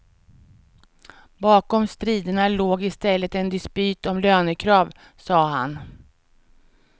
Bakom striderna låg i stället en dispyt om lönekrav, sade han.